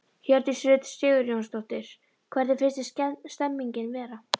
Hjördís Rut Sigurjónsdóttir: Hvernig finnst þér stemningin vera?